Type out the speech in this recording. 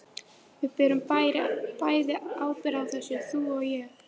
Við berum bæði ábyrgð á þessu, þú og ég.